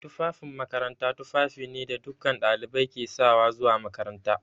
Tufafin makaranta tufafi ne da dukkan ɗalibai ke sawa zuwa makaranta.